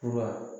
Fura